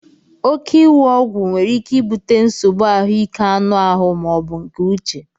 Óké iwu Ọgwụ nwere ike ibute nsogbu ahụike anụ ahụ ma ọ bụ nke uche